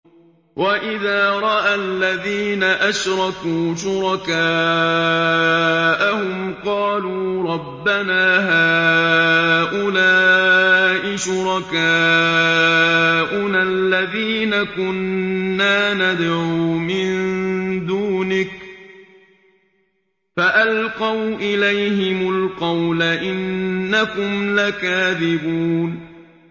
وَإِذَا رَأَى الَّذِينَ أَشْرَكُوا شُرَكَاءَهُمْ قَالُوا رَبَّنَا هَٰؤُلَاءِ شُرَكَاؤُنَا الَّذِينَ كُنَّا نَدْعُو مِن دُونِكَ ۖ فَأَلْقَوْا إِلَيْهِمُ الْقَوْلَ إِنَّكُمْ لَكَاذِبُونَ